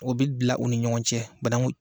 O bɛ bila u ni ɲɔgɔn cɛ banaku